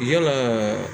Yalaa